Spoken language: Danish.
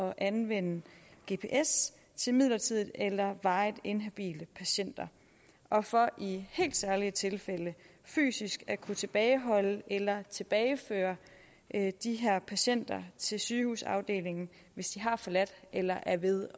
at anvende gps til midlertidigt eller varigt inhabile patienter og for i helt særlige tilfælde fysisk at kunne tilbageholde eller tilbageføre de her patienter til sygehusafdelingen hvis de har forladt eller er ved